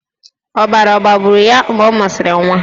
Ọbara ọ̀ gbagburu ya mgbe ọ mụsịrị nwa?